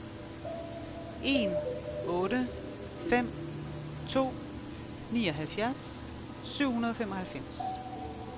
en otte fem to nioghalvfjerds syv hundrede og femoghalvfems